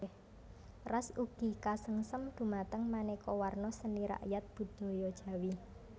Ras ugi kasengsem dumateng manéka warna seni rakyat budaya Jawi